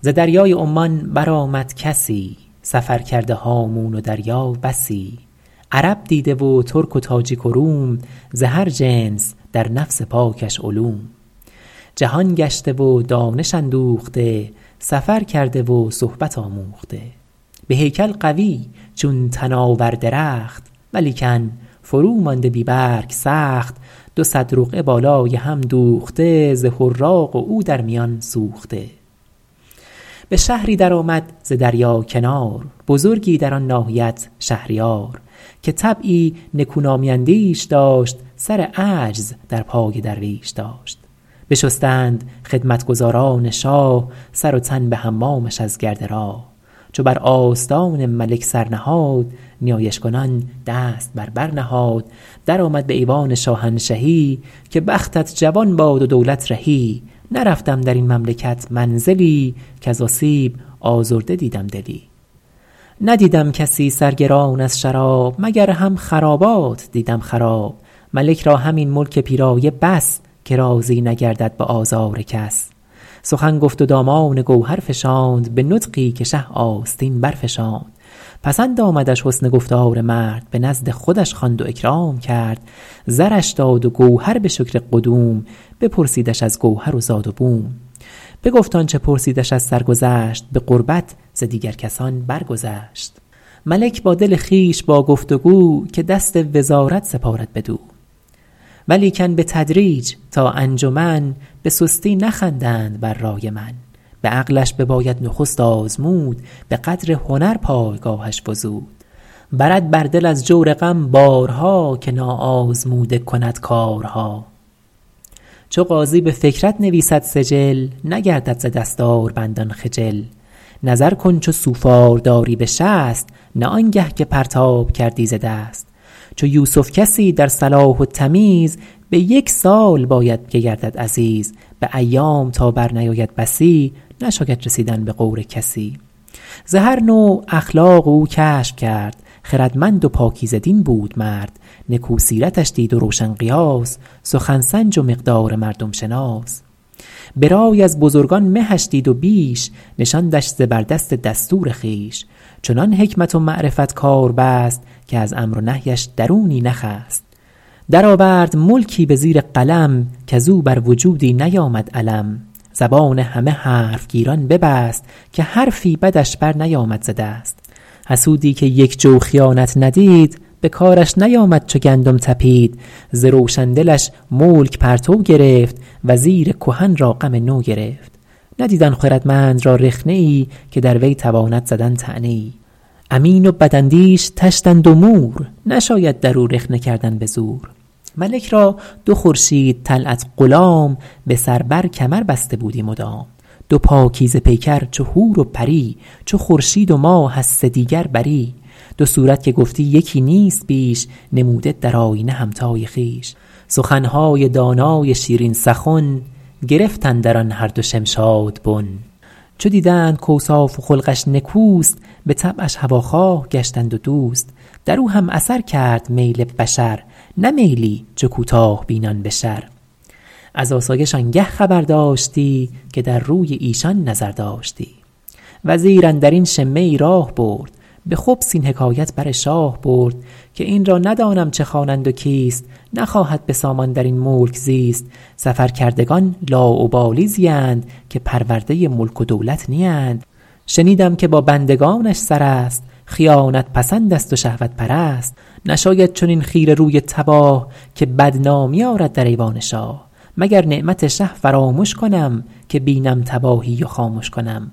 ز دریای عمان برآمد کسی سفر کرده هامون و دریا بسی عرب دیده و ترک و تاجیک و روم ز هر جنس در نفس پاکش علوم جهان گشته و دانش اندوخته سفر کرده و صحبت آموخته به هیکل قوی چون تناور درخت ولیکن فرو مانده بی برگ سخت دو صد رقعه بالای هم دوخته ز حراق و او در میان سوخته به شهری در آمد ز دریا کنار بزرگی در آن ناحیت شهریار که طبعی نکونامی اندیش داشت سر عجز در پای درویش داشت بشستند خدمتگزاران شاه سر و تن به حمامش از گرد راه چو بر آستان ملک سر نهاد نیایش کنان دست بر بر نهاد درآمد به ایوان شاهنشهی که بختت جوان باد و دولت رهی نرفتم در این مملکت منزلی کز آسیب آزرده دیدم دلی ندیدم کسی سرگران از شراب مگر هم خرابات دیدم خراب ملک را همین ملک پیرایه بس که راضی نگردد به آزار کس سخن گفت و دامان گوهر فشاند به نطقی که شه آستین برفشاند پسند آمدش حسن گفتار مرد به نزد خودش خواند و اکرام کرد زرش داد و گوهر به شکر قدوم بپرسیدش از گوهر و زاد و بوم بگفت آنچه پرسیدش از سرگذشت به قربت ز دیگر کسان بر گذشت ملک با دل خویش با گفت و گو که دست وزارت سپارد بدو ولیکن بتدریج تا انجمن به سستی نخندند بر رای من به عقلش بباید نخست آزمود به قدر هنر پایگاهش فزود برد بر دل از جور غم بارها که نا آزموده کند کارها چو قاضی به فکرت نویسد سجل نگردد ز دستاربندان خجل نظر کن چو سوفار داری به شست نه آنگه که پرتاب کردی ز دست چو یوسف کسی در صلاح و تمیز به یک سال باید که گردد عزیز به ایام تا بر نیاید بسی نشاید رسیدن به غور کسی ز هر نوع اخلاق او کشف کرد خردمند و پاکیزه دین بود مرد نکو سیرتش دید و روشن قیاس سخن سنج و مقدار مردم شناس به رای از بزرگان مهش دید و بیش نشاندش زبردست دستور خویش چنان حکمت و معرفت کار بست که از امر و نهیش درونی نخست در آورد ملکی به زیر قلم کز او بر وجودی نیامد الم زبان همه حرف گیران ببست که حرفی بدش بر نیامد ز دست حسودی که یک جو خیانت ندید به کارش نیامد چو گندم تپید ز روشن دلش ملک پرتو گرفت وزیر کهن را غم نو گرفت ندید آن خردمند را رخنه ای که در وی تواند زدن طعنه ای امین و بد اندیش طشتند و مور نشاید در او رخنه کردن به زور ملک را دو خورشید طلعت غلام به سر بر کمر بسته بودی مدام دو پاکیزه پیکر چو حور و پری چو خورشید و ماه از سدیگر بری دو صورت که گفتی یکی نیست بیش نموده در آیینه همتای خویش سخنهای دانای شیرین سخن گرفت اندر آن هر دو شمشاد بن چو دیدند کاوصاف و خلقش نکوست به طبعش هواخواه گشتند و دوست در او هم اثر کرد میل بشر نه میلی چو کوتاه بینان به شر از آسایش آنگه خبر داشتی که در روی ایشان نظر داشتی چو خواهی که قدرت بماند بلند دل ای خواجه در ساده رویان مبند وگر خود نباشد غرض در میان حذر کن که دارد به هیبت زیان وزیر اندر این شمه ای راه برد به خبث این حکایت بر شاه برد که این را ندانم چه خوانند و کیست نخواهد به سامان در این ملک زیست سفر کردگان لاابالی زیند که پرورده ملک و دولت نیند شنیدم که با بندگانش سر است خیانت پسند است و شهوت پرست نشاید چنین خیره روی تباه که بد نامی آرد در ایوان شاه مگر نعمت شه فرامش کنم که بینم تباهی و خامش کنم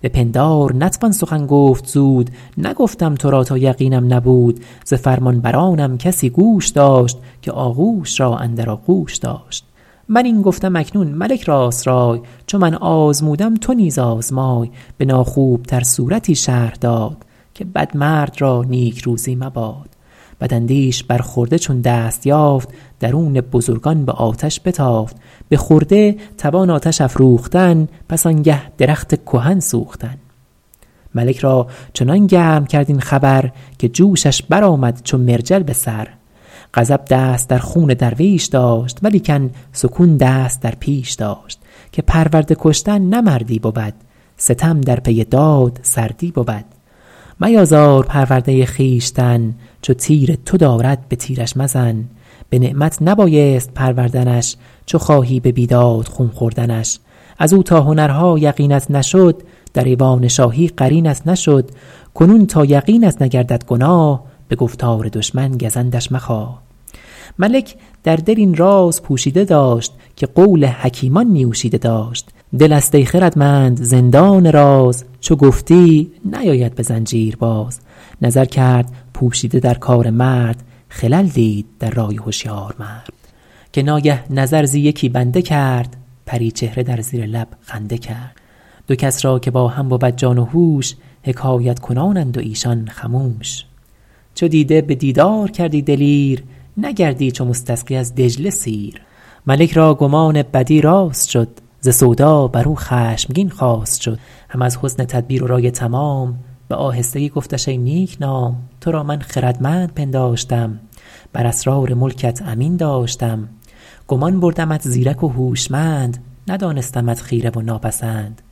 به پندار نتوان سخن گفت زود نگفتم تو را تا یقینم نبود ز فرمانبرانم کسی گوش داشت که آغوش را اندر آغوش داشت من این گفتم اکنون ملک راست رای چو من آزمودم تو نیز آزمای به ناخوب تر صورتی شرح داد که بد مرد را نیکروزی مباد بداندیش بر خرده چون دست یافت درون بزرگان به آتش بتافت به خرده توان آتش افروختن پس آنگه درخت کهن سوختن ملک را چنان گرم کرد این خبر که جوشش برآمد چو مرجل به سر غضب دست در خون درویش داشت ولیکن سکون دست در پیش داشت که پرورده کشتن نه مردی بود ستم در پی داد سردی بود میازار پرورده خویشتن چو تیر تو دارد به تیرش مزن به نعمت نبایست پروردنش چو خواهی به بیداد خون خوردنش از او تا هنرها یقینت نشد در ایوان شاهی قرینت نشد کنون تا یقینت نگردد گناه به گفتار دشمن گزندش مخواه ملک در دل این راز پوشیده داشت که قول حکیمان نیوشیده داشت دل است ای خردمند زندان راز چو گفتی نیاید به زنجیر باز نظر کرد پوشیده در کار مرد خلل دید در رای هشیار مرد که ناگه نظر زی یکی بنده کرد پری چهره در زیر لب خنده کرد دو کس را که با هم بود جان و هوش حکایت کنانند و ایشان خموش چو دیده به دیدار کردی دلیر نگردی چو مستسقی از دجله سیر ملک را گمان بدی راست شد ز سودا بر او خشمگین خواست شد هم از حسن تدبیر و رای تمام به آهستگی گفتش ای نیک نام تو را من خردمند پنداشتم بر اسرار ملکت امین داشتم گمان بردمت زیرک و هوشمند ندانستمت خیره و ناپسند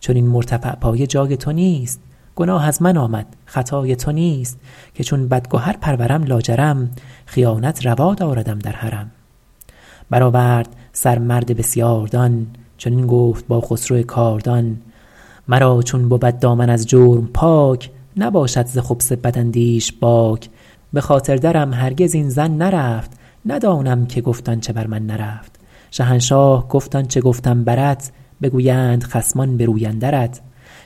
چنین مرتفع پایه جای تو نیست گناه از من آمد خطای تو نیست که چون بدگهر پرورم لاجرم خیانت روا داردم در حرم برآورد سر مرد بسیاردان چنین گفت با خسرو کاردان مرا چون بود دامن از جرم پاک نباشد ز خبث بداندیش باک به خاطر درم هرگز این ظن نرفت ندانم که گفت آنچه بر من نرفت شهنشاه گفت آنچه گفتم برت بگویند خصمان به روی اندرت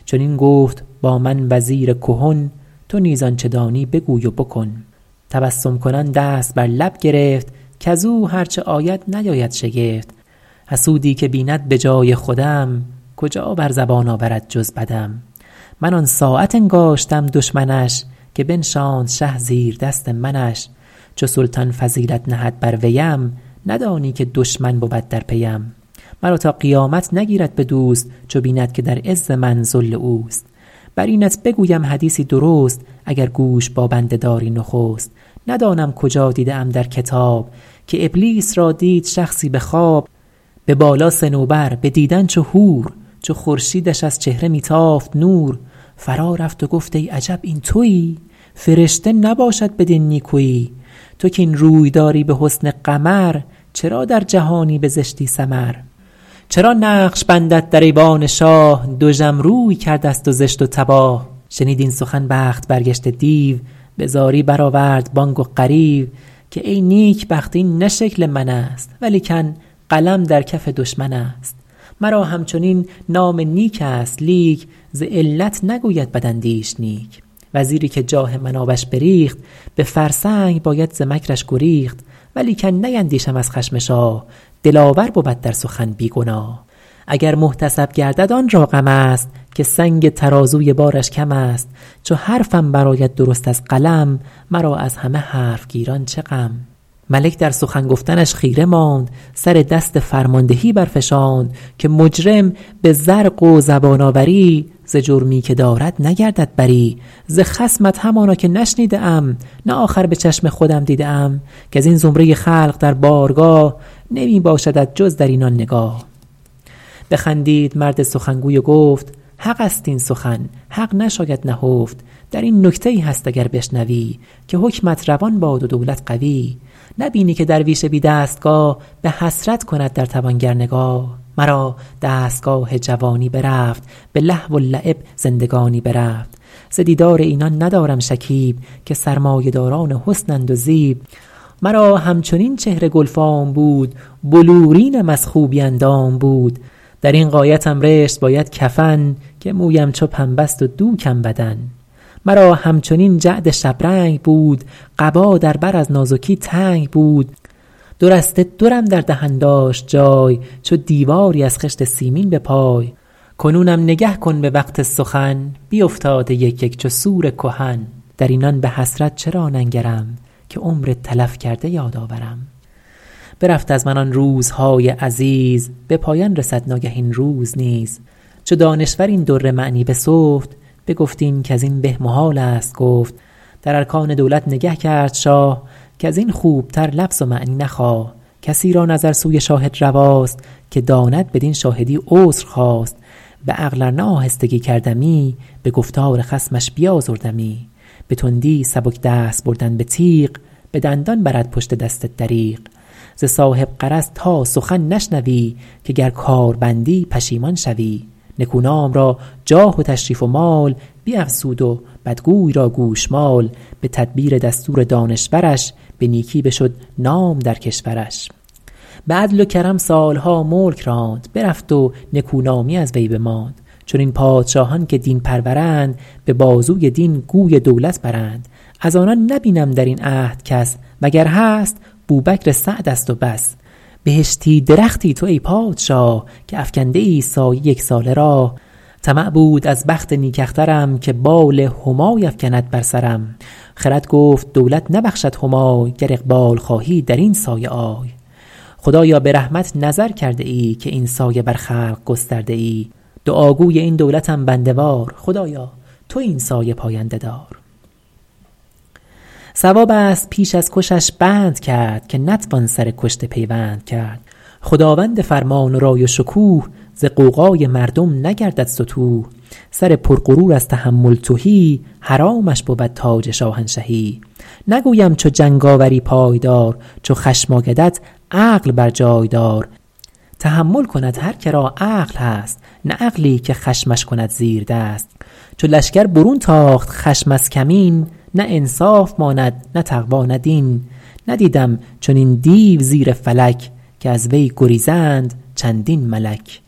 چنین گفت با من وزیر کهن تو نیز آنچه دانی بگوی و بکن تسبم کنان دست بر لب گرفت کز او هر چه آید نیاید شگفت حسودی که بیند به جای خودم کجا بر زبان آورد جز بدم من آن ساعت انگاشتم دشمنش که بنشاند شه زیردست منش چو سلطان فضیلت نهد بر ویم ندانی که دشمن بود در پیم مرا تا قیامت نگیرد به دوست چو بیند که در عز من ذل اوست بر اینت بگویم حدیثی درست اگر گوش با بنده داری نخست ندانم کجا دیده ام در کتاب که ابلیس را دید شخصی به خواب به بالا صنوبر به دیدن چو حور چو خورشیدش از چهره می تافت نور فرا رفت و گفت ای عجب این تویی فرشته نباشد بدین نیکویی تو کاین روی داری به حسن قمر چرا در جهانی به زشتی سمر چرا نقش بندت در ایوان شاه دژم روی کرده ست و زشت و تباه شنید این سخن بخت برگشته دیو به زاری برآورد بانگ و غریو که ای نیکبخت این نه شکل من است ولیکن قلم در کف دشمن است مرا همچنین نام نیک است لیک ز علت نگوید بداندیش نیک وزیری که جاه من آبش بریخت به فرسنگ باید ز مکرش گریخت ولیکن نیندیشم از خشم شاه دلاور بود در سخن بی گناه اگر محتسب گردد آن را غم است که سنگ ترازوی بارش کم است چو حرفم برآید درست از قلم مرا از همه حرف گیران چه غم ملک در سخن گفتنش خیره ماند سر دست فرماندهی برفشاند که مجرم به زرق و زبان آوری ز جرمی که دارد نگردد بری ز خصمت همانا که نشنیده ام نه آخر به چشم خودم دیده ام کز این زمره خلق در بارگاه نمی باشدت جز در اینان نگاه بخندید مرد سخنگوی و گفت حق است این سخن حق نشاید نهفت در این نکته ای هست اگر بشنوی که حکمت روان باد و دولت قوی نبینی که درویش بی دستگاه به حسرت کند در توانگر نگاه مرا دستگاه جوانی برفت به لهو و لعب زندگانی برفت ز دیدار اینان ندارم شکیب که سرمایه داران حسنند و زیب مرا همچنین چهره گلفام بود بلورینم از خوبی اندام بود در این غایتم رشت باید کفن که مویم چو پنبه ست و دوکم بدن مرا همچنین جعد شبرنگ بود قبا در بر از نازکی تنگ بود دو رشته درم در دهن داشت جای چو دیواری از خشت سیمین به پای کنونم نگه کن به وقت سخن بیفتاده یک یک چو سور کهن در اینان به حسرت چرا ننگرم که عمر تلف کرده یاد آورم برفت از من آن روزهای عزیز به پایان رسد ناگه این روز نیز چو دانشور این در معنی بسفت بگفت این کز این به محال است گفت در ارکان دولت نگه کرد شاه کز این خوبتر لفظ و معنی مخواه کسی را نظر سوی شاهد رواست که داند بدین شاهدی عذر خواست به عقل ار نه آهستگی کردمی به گفتار خصمش بیازردمی به تندی سبک دست بردن به تیغ به دندان برد پشت دست دریغ ز صاحب غرض تا سخن نشنوی که گر کار بندی پشیمان شوی نکونام را جاه و تشریف و مال بیفزود و بدگوی را گوشمال به تدبیر دستور دانشورش به نیکی بشد نام در کشورش به عدل و کرم سالها ملک راند برفت و نکونامی از وی بماند چنین پادشاهان که دین پرورند به بازوی دین گوی دولت برند از آنان نبینم در این عهد کس وگر هست بوبکر سعد است و بس بهشتی درختی تو ای پادشاه که افکنده ای سایه یک ساله راه طمع بود از بخت نیک اخترم که بال همای افکند بر سرم خرد گفت دولت نبخشد همای گر اقبال خواهی در این سایه آی خدایا به رحمت نظر کرده ای که این سایه بر خلق گسترده ای دعا گوی این دولتم بنده وار خدایا تو این سایه پاینده دار صواب است پیش از کشش بند کرد که نتوان سر کشته پیوند کرد خداوند فرمان و رای و شکوه ز غوغای مردم نگردد ستوه سر پر غرور از تحمل تهی حرامش بود تاج شاهنشهی نگویم چو جنگ آوری پای دار چو خشم آیدت عقل بر جای دار تحمل کند هر که را عقل هست نه عقلی که خشمش کند زیردست چو لشکر برون تاخت خشم از کمین نه انصاف ماند نه تقوی نه دین ندیدم چنین دیو زیر فلک که از وی گریزند چندین ملک